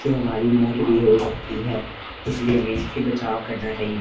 ये हमारी मौत भी हो सकती है इसलिए हमें इससे बचाव करना चाहि--